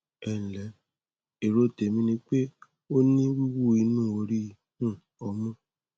ẹ ǹlẹ èrò tèmi ni pé o ní wíwú inú orí um ọmú